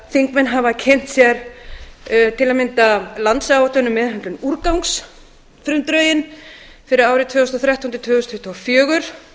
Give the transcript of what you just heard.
þingmenn hafa kynnt sér til að mynda landsáætlun um meðhöndlun úrgangs frumdrögin fyrir árin tvö þúsund og þrettán til tvö þúsund tuttugu og fjögur